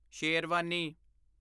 sherwani